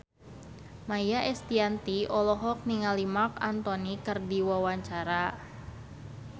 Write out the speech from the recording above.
Maia Estianty olohok ningali Marc Anthony keur diwawancara